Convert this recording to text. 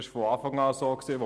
Das war von Anfang an so.